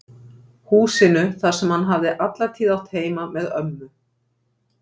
Húsinu þar sem hann hafði alla tíð átt heima með ömmu